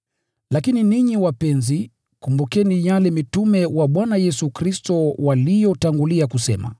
Lakini ninyi wapenzi, kumbukeni yale mitume wa Bwana Yesu Kristo waliyonena zamani.